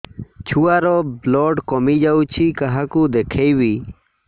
ଛୁଆ ର ବ୍ଲଡ଼ କମି ଯାଉଛି କାହାକୁ ଦେଖେଇବି